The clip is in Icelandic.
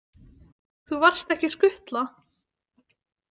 Þú varst ekki skutla?